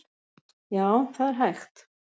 Já, það er hægt.